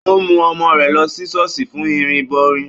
Ó mú ọmọ rẹ̀ lọ sí ṣọ́ọ̀ṣì fún ìrìbọmi